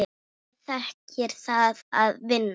Liðið þekkir það að vinna.